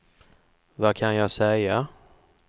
vad kan jag säga